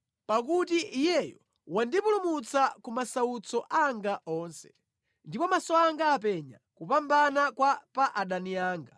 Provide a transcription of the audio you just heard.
Pakuti Iyeyo wandipulumutsa ku masautso anga onse, ndipo maso anga apenya kupambana kwa pa adani anga.